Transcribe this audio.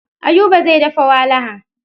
Ayuba zai dafa walaha.